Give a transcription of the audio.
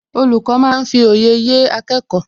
Olùkọ́ máa ń fi òye yé akẹ́kọ̀ọ́